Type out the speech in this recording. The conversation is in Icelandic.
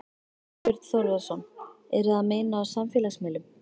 Þorbjörn Þórðarson: Eru að meina á samfélagsmiðlum?